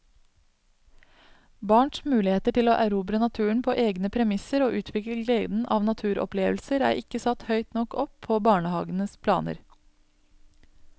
Barns muligheter til å erobre naturen på egne premisser og utvikle gleden av naturopplevelser er ikke satt høyt nok opp på barnehagens planer.